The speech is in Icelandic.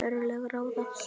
En örlög ráða.